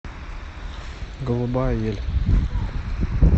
голубая ель